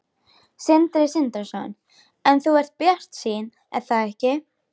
Sindri Sindrason: En þú ert bjartsýn er það ekki?